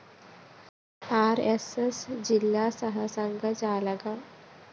R S S ജില്ല സഹസംഘചാലക് M